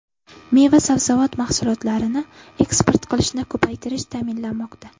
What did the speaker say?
Meva-sabzavot mahsulotlarini eksport qilishni ko‘paytirish ta’minlanmoqda.